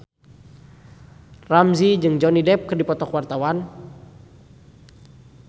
Ramzy jeung Johnny Depp keur dipoto ku wartawan